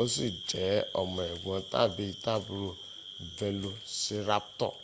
o si je omo egbon tabi aburo velociraptor